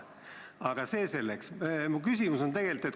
Aga see selleks.